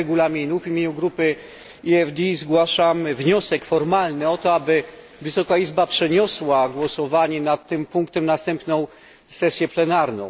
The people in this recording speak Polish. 4 Regulaminu w imieniu Grupy EFD zgłaszam wniosek formalny o to, aby Wysoka Izba przeniosła głosowanie nad tym punktem na następną sesję plenarną.